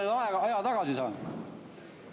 Kuidas ma nüüd aja tagasi saan?